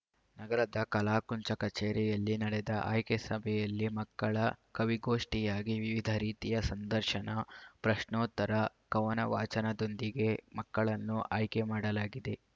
ನಗರದ ಕಲಾಕುಂಚ ಕಚೇರಿಯಲ್ಲಿ ನಡೆದ ಆಯ್ಕೆ ಸಭೆಯಲ್ಲಿ ಮಕ್ಕಳ ಕವಿಗೋಷ್ಠಿಯಾಗಿ ವಿವಿಧ ರೀತಿಯ ಸಂದರ್ಶನ ಪ್ರಶ್ನೋತ್ತರ ಕವನ ವಾಚನದೊಂದಿಗೆ ಮಕ್ಕಳನ್ನು ಆಯ್ಕೆ ಮಾಡಲಾಗಿದೆ